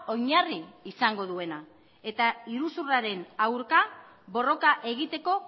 oinarri izango duena eta iruzurraren aurka borroka egiteko